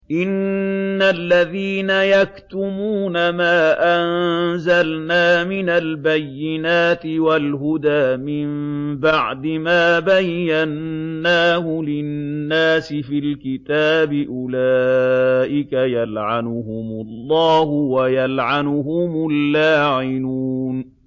إِنَّ الَّذِينَ يَكْتُمُونَ مَا أَنزَلْنَا مِنَ الْبَيِّنَاتِ وَالْهُدَىٰ مِن بَعْدِ مَا بَيَّنَّاهُ لِلنَّاسِ فِي الْكِتَابِ ۙ أُولَٰئِكَ يَلْعَنُهُمُ اللَّهُ وَيَلْعَنُهُمُ اللَّاعِنُونَ